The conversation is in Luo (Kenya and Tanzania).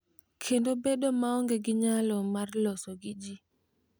Kendo bedo maonge gi nyalo mar loso gi ji.